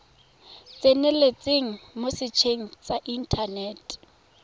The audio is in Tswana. tseneletseng mo setsheng sa inthanete